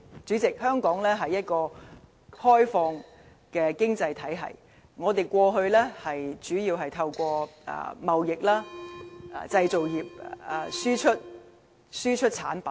主席，香港是一個開放的經濟體系，我們過去主要透過貿易和製造業輸出產品。